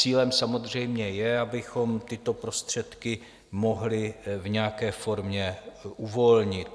Cílem samozřejmě je, abychom tyto prostředky mohli v nějaké formě uvolnit.